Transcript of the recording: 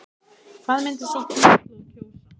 Hvað myndi sú kynslóð kjósa?